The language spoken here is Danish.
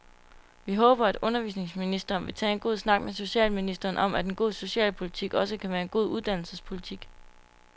Vi håber, at undervisningsministeren vil tage en god snak med socialministeren om, at en god socialpolitik også kan være en god uddannelsespolitik.